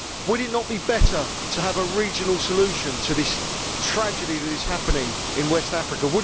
Would it not be better to have a regional solution to this tragedy that is happening in West Africa?